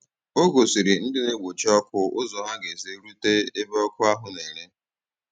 Ọ gòsìrì ndị na-egbochi ọkụ ụzọ ha ga-esi rute ebe ọkụ ahụ̀ na-ere.